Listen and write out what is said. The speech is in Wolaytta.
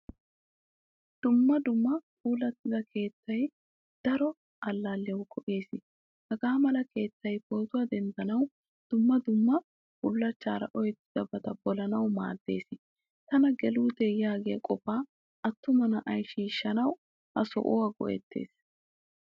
Dumma dumma puulattida keettay daro allaaliyawu go'ees. Hagamala keettay pootuwaa denddandanawu, dumma dumma bullachchaara oyqqettidaba polanawu maaddees. Tana gelutte yaagiyaa qofa attumaa na'aay shiishshanawu ha sohuwaa go'ettees.